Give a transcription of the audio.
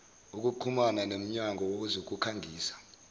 ukuxhuma nemnyango wezokukhangisa